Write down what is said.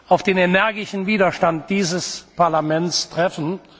auf den energischen Widerstand dieses Parlaments treffen.